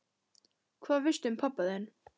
Hvað veistu um pabba þinn?